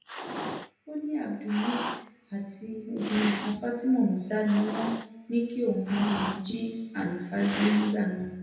ó ní abdulmile àti obìnrin kan fatima musa ni wọ́n ní kóun báwọn jí hanifa gbé nígbà náà